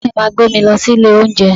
Bàbá mi máa gbé mi lọ sí ilé oúnjẹ